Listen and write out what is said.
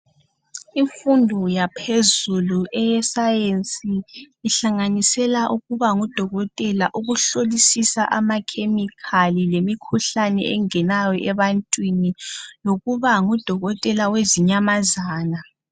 Imfundo yaphezelu eyeSayensi ihlanganisela ukuba ngudokotela, ukuhlolisisa ama khemikhali lemikhuhlane engenayo ebantwini lokuba ngudokotela wezinyamazana.